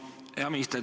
Hea minister!